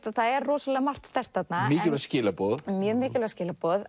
að það er rosalega margt sterkt þarna mikilvæg skilaboð mjög mikilvæg skilaboð